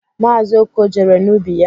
Maazi Okoh jere n'ubi ya.